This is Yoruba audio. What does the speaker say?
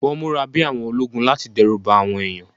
Wọ́n múra bí àwọn ológun láti dẹ́rù ba àwọn ènìyàn